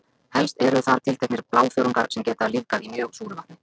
Helst eru þar tilteknir blágrænþörungar sem geta lifað í mjög súru vatni.